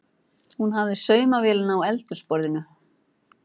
Hún hafði saumavélina á eldhúsborðinu.